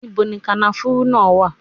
Níbo ni kànáfùrú náà wà?